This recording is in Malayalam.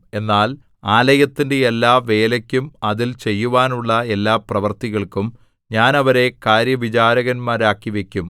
എന്നാൽ ആലയത്തിന്റെ എല്ലാ വേലയ്ക്കും അതിൽ ചെയ്യുവാനുള്ള എല്ലാ പ്രവൃത്തികൾക്കും ഞാൻ അവരെ കാര്യവിചാരകന്മാരാക്കിവയ്ക്കും